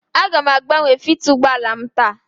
Aga m agbanwe filta ụgbọ ala m taa.